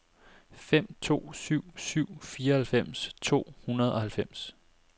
fem to syv syv fireoghalvfems to hundrede og halvfems